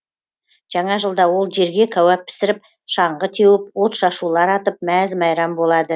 жаңа жылда ол жерге кәуәп пісіріп шаңғы теуіп отшашулар атып мәз мейрам болады